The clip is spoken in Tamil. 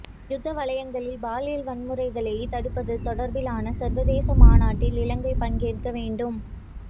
யுத்த வலயங்களில் பாலியல் வன்முறைகளை தடுப்பது தொடர்பிலான சர்வதேச மாநாட்டில் இலங்கை பங்கேற்க வேண்டும்